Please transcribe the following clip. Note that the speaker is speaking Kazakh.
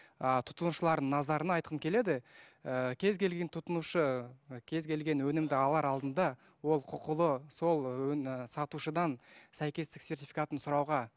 ыыы тұтынушылардың назарына айтқым келеді ііі кез келген тұтынушы кез келген өнімді алар алдында ол құқылы сол і сатушыдан сәйкестік сертификатын сұрауға